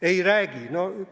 Ei räägi?